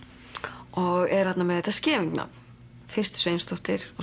og er þarna með þetta Scheving nafn fyrst Sveinsdóttir og